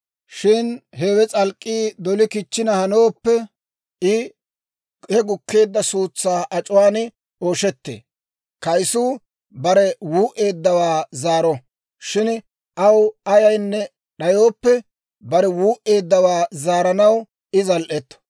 Shin hewe s'alk'k'ii doli kichchina hanooppe, I he gukkeedda suutsaa ac'uwaan ooshettee. Kaysuu bare wuu"eeddawaa zaaro; shin aw ayaynne d'ayooppe, bare wuu"eeddawaa zaaranaw I zal"etto.